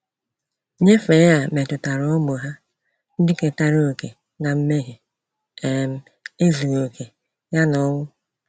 Nyefe a metụtara ụmụ ha, ndị ketara okè na mmehie, um ezughi oke ya na ọnwụ.